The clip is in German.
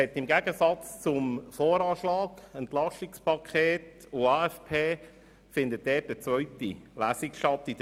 Im Gegensatz zu VA, AFP und EP wird zum StG in der Märzsession eine zweite Lesung stattfinden.